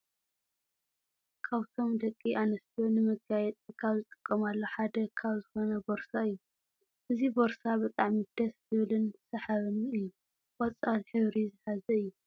ካብቶም ደቂ ኣንስትዮ ነመጋየፂ ካብ ዝጥቀማሉ ሓደ ካብ ዝኮነ ቦርሳ እዩ። እዙይ ቦርሳ ብጣዕሚ ደስ ዝብልን ስሓብን እዩ። ቆፃል ሕብሪ ዝሓዘ እዩ።